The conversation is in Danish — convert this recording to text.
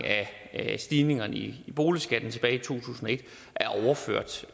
af stigningerne i boligskatten tilbage i to tusind og et er